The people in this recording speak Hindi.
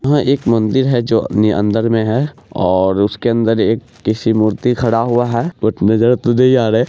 यहां एक मंदिर है जो अपने अंदर में है और उसके अंदर एक किसी मूर्ति खड़ा हुआ है वो नजर तो नहीं आ रहे।